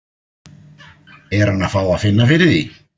Er hann að fá að finna fyrir því?